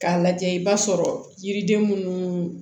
K'a lajɛ i b'a sɔrɔ yiriden minnu